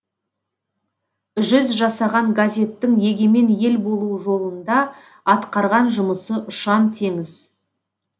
жүз жасаған газеттің егемен ел болу жолында атқарған жұмысы ұшан теңіз